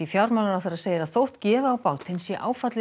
fjármálaráðherra segir að þótt gefi á bátinn sé áfallið